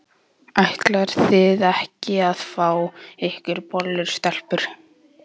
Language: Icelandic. Ætlið þið ekki að fá ykkur bollu, stelpur?